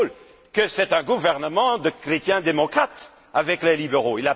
Daul, que c'est un gouvernement de chrétiens démocrates avec les libéraux.